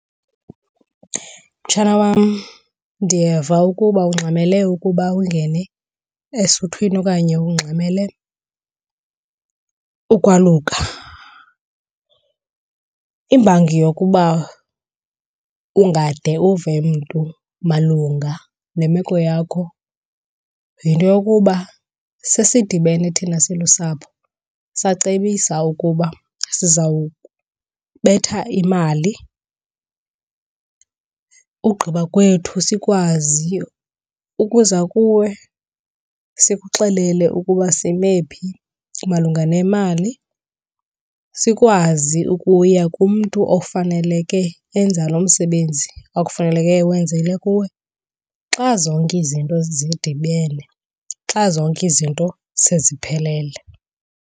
Mtshana wam, ndiyeva ukuba ungxamele ukuba ungene esuthwini okanye ungxamele ukwaluka. Imbangi yokuba ungade uve mntu malunga nemeko yakho yinto yokuba sidibene thina silusapho sacebisa ukuba sizawubetha imali, ugqiba kwethu sikwazi ukuza kuwe sikuxelele ukuba sime phi malunga nemali. Sikwazi kuya kumntu ofaneleke enza lo msebenzi ekufaneleke ewenzile kuwe xa zonke izinto zidibene, xa zonke izinto seziphelele.